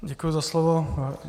Děkuji za slovo.